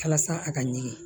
Walasa a ka ɲɛ